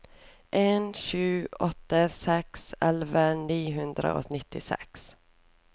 en sju åtte seks elleve ni hundre og nittiseks